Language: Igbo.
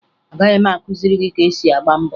Agaghị m akụziri gị ka esi agba mbọ